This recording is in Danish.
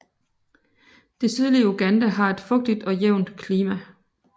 Det sydlige Uganda har et fugtigt og jævnt klima